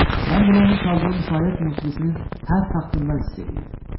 Mən bunu onun çaldığı müşayiət musiqisinin hər taxtından hiss eləyirdim.